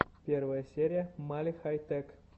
первая серия мали хай тэк